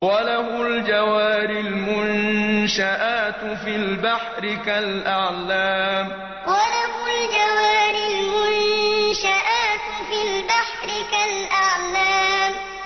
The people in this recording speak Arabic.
وَلَهُ الْجَوَارِ الْمُنشَآتُ فِي الْبَحْرِ كَالْأَعْلَامِ وَلَهُ الْجَوَارِ الْمُنشَآتُ فِي الْبَحْرِ كَالْأَعْلَامِ